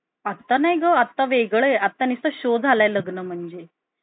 आता नाही ग? आता वेगळं आता नुसतं शो झाला लग्न म्हणजे.